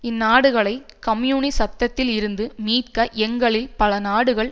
இந்நாடுகளை கம்யூனிசத்தில் இருந்து மீட்க எங்களில் பல நாடுகள்